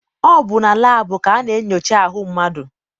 Ọ bụ na laabụ ka a na-enyocha ahụ mmadụ.